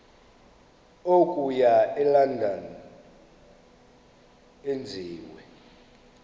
okuya elondon enziwe